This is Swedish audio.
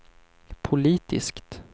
politiskt